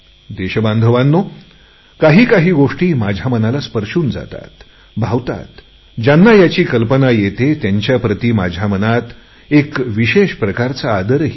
देशबांधवांनो काही काही गोष्टी माझ्या मनाला स्पर्शून जातात भावतात ज्यांना याची कल्पना येते त्यांच्याप्रति माझ्या मनात एक विशेष प्रकारचा आदरही आहे